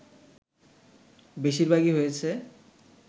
বেশিরভাগই হয়েছে